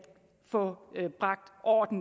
få bragt orden